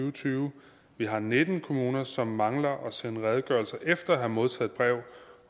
og tyve vi har nitten kommuner som mangler at sende redegørelser efter at have modtaget brev